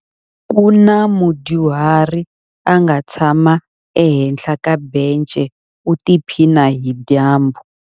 Ku na mudyuhari a nga tshama ehenhla ka bence u tiphina hi dyambu.